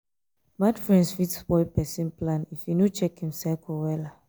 bad friends fit spoil pesin plan if e no check im circle wella.